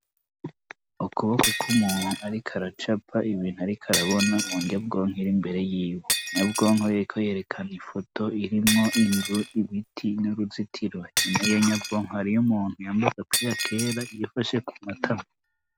Ukuboko k'umuntu ariko aracapa ibintu ariko arabona munyabwonko ir'imbere yiwe, nyabwonko yariko yerekana ifoto irimwo inzu, ibiti n'uruzitiro. Inyuma y'iyo nyabwonko hariyo umuntu yambaye agapira kera yifashe ku matama.